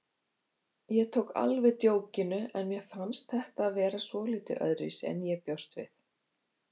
Ég tók alveg djókinu en mér fannst þetta vera svolítið öðruvísi en ég bjóst við.